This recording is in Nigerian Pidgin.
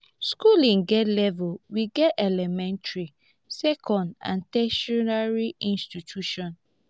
schooling get level we get elementary second and tertiary institution.